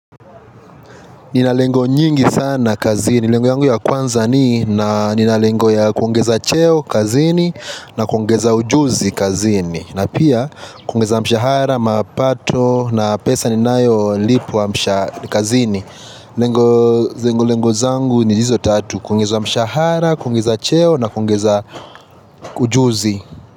Nina lengo nyingi sana kazini. Lengo yangu ya kwanza ni na ninalengo ya kuongeza cheo kazini na kuongeza ujuzi kazini. Na pia kungeza mshahara, mapato na pesa ninayo lipwa mshahari kazini. Lengo zangu ni hizo tatu. Kwongeza mshahara, kuongeza cheo na kuongeza ujuzi.